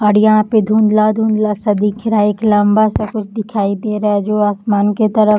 और यहाँ पे धुँधला धुँधला सा दिख रहा है एक लम्बा सा कुछ दिखाई दे रहा है जो आसमान के तरफ --